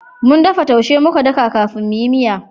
Mun dafa taushe muka daka kafin mu yi miya